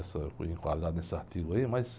Essa, eu fui enquadrado nesse artigo aí, mas...